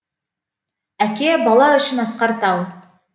әке бала үшін асқар тау